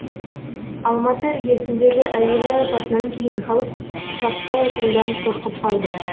алматы іргесіндегі әуежай апатынан кейін халық ұшаққа отырудан қорқып қалды